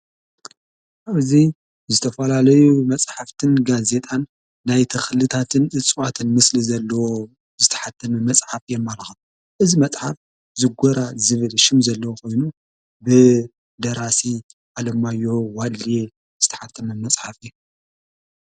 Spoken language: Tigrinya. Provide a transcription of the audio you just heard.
ኣብዙይ ዝተፈላለዩ መጽሓፍትን ጋ ዜጣን ናይ ቲኽልታትን እጽዋተን ምስሊ ዘለዎ ዝተሓተን መጽሓፍ የማልቓ እዝ መጽሓፍ ዝጐራ ዝብል ሹም ዘለዉ ኾይኑ ብደራሲ ኣለማዮ ዋድልየ ዝተሓተም መጽሓፍ እየ።